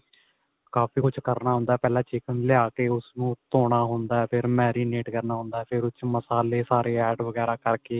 ਕਾਫੀ ਕੁੱਝ ਕਰਨਾ ਹੁੰਦਾ ਪਹਿਲਾਂ chicken ਲਿਆ ਕੇ ਉਸ ਨੂੰ ਧੋਣਾ ਹੁੰਦਾ ਫੇਰ marinate ਕਰਨਾ ਹੁੰਦਾ ਫੇਰ ਉਸ ਚ ਮਸਾਲੇ ਸਾਰੇ add ਵਗੈਰਾ ਕਰਕੇ